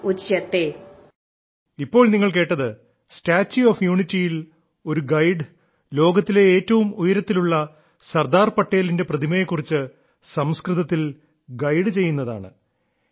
ഇപ്പോൾ നിങ്ങൾ കേട്ടത് സ്റ്റാച്യൂ ഓഫ് യൂണിറ്റിയിൽ ഒരു ഗൈഡ് ലോകത്തിലെ ഏറ്റവും ഉയരത്തിലുള്ള സർദാർ പട്ടേലിന്റെ പ്രതിമയെ കുറിച്ച് സംസ്കൃതത്തിൽ ഗൈഡ് ചെയ്യുന്നതാണ്